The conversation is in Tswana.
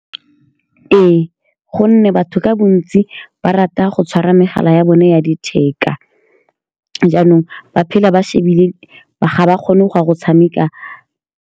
Ee, ka gonne batho ka bontsi ba rata go tshwara megala ya bone ya letheka, jaanong ba phela ba shebile ga ba kgone go ya go tshameka.